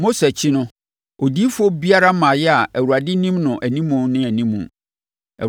Mose akyi no, odiyifoɔ biara mmaeɛ a Awurade nim no animu ne animu.